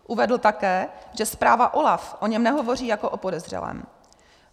Uvedl také, že zpráva OLAF o něm nehovoří jako o podezřelém.